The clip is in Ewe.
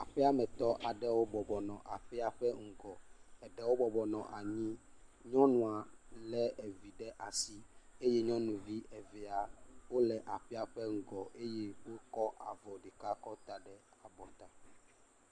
Aƒeamet aɖewo bɔbɔ nɔ aƒea ƒe ŋgɔ. Eɖewo bɔbɔ nɔ anyi. Nyɔnua lé vi ɖe asi eye nyɔnuvi evea wole aƒea ƒe ŋgɔ eye wokɔ avɔ ɖeka kɔ ta ɖe avɔ ta.